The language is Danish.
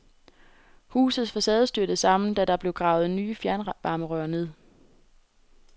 Husets facade styrtede sammen da der blev gravet nye fjernvarmerør ned.